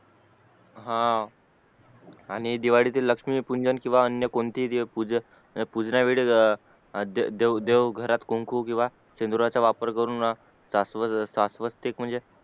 हा आणि दिवाळीत लक्ष्मी पूजन आणि अन्य कोणतेही पूजन पूजना वेळीस देव देव घरात कुंकू केव्हा शेंदुराची वापर करून शास्व शाश्वतिक